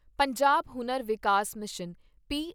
ਪੰਜਾਬ ਹੁਨਰ ਵਿਕਾਸ ਮਿਸ਼ਨ ਪੀ